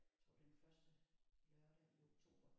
Jeg tror det er den første lørdag i oktober